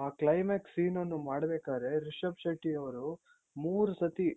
ಆ climax scene ಅನ್ನು ಮಾಡ್ಬೇಕಾರೆ ರಿಷಬ್ ಶೆಟ್ಟಿಯವ್ರು ಮೂರ್ ಸತಿ